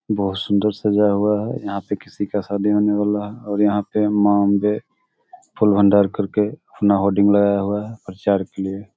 बहुत सुंदर सजा हुआ है यहां पे किसी का शादी होने वाला है और यहां पे मां अंबे फूल भंडार करके अपना लगाया हुआ है प्रचार के लिए।